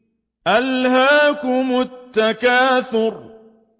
أَلْهَاكُمُ التَّكَاثُرُ